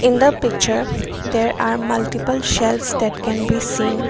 in the picture there are multiple shelves that can be seen.